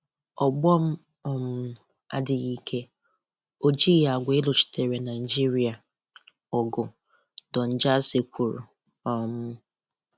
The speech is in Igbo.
Ọgbọ m um adịghị ike, o jighị àgwà ịlụchitere Naịjíríà ọgụ, Don Jazzy kwùrù. um